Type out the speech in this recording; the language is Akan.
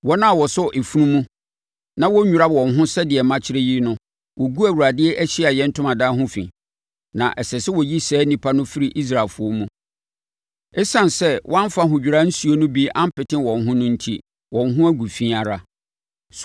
Wɔn a wɔsɔ efunu mu na wɔnnwira wɔn ho sɛdeɛ makyerɛ yi no, wɔgu Awurade Ahyiaeɛ Ntomadan ho fi, na ɛsɛ sɛ wɔyi saa nnipa no firi Israelfoɔ mu. Esiane sɛ wɔamfa ahodwira nsuo no bi ampete wɔn ho no enti, wɔn ho agu fi ara.